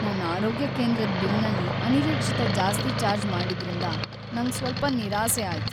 ನನ್ ಆರೋಗ್ಯ ಕೇಂದ್ರದ್ ಬಿಲ್ನಲ್ಲಿ ಅನಿರೀಕ್ಷಿತ ಜಾಸ್ತಿ ಚಾರ್ಜ್ ಮಾಡಿದ್ರಿಂದ ನಂಗ್ ಸ್ವಲ್ಪ ನಿರಾಸೆ ಆಯ್ತ್.